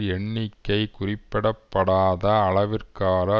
எண்ணிக்கை குறிப்பிட படாத அளவிற்கான